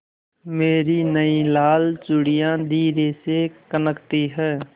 मेरी नयी लाल चूड़ियाँ धीरे से खनकती हैं